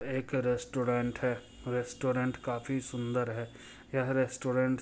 एक रेस्टोरेंट है रेस्टोरेंट काफी सुंदर है यह रेस्टोरेंट--